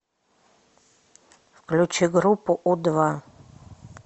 включи группу у два